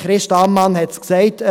Christa Ammann hat es gesagt.